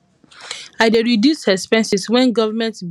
i dey reduce expenses wen government begin delay our salary